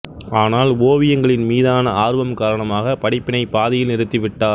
ஆனால் ஓவியங்களின் மீதான ஆர்வம் காரணமாக படிப்பினை பாதியில் நிறுத்திவிட்டார்